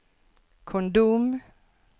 kondom